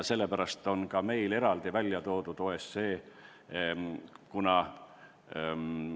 Sellepärast on meil eraldi välja toodud ka OSCE.